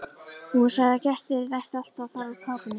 Hún sagði að gestir ættu alltaf að fara úr kápunni.